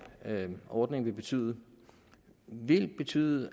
ordning vil betyde vil betyde